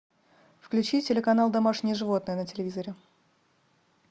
включи телеканал домашние животные на телевизоре